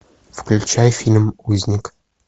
включай фильм узник